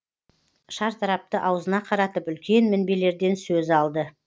шартарапты аузына қаратып үлкен мінбелерден сөз алды